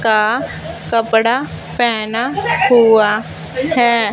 का कपड़ा पहेना हुआ है।